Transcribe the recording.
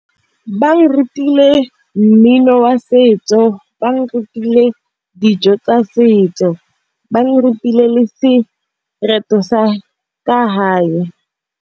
Ba re rutile mmino wa setso. Ba re rutile dijo tsa setso. Ba re rutile le sereto sa ka hae.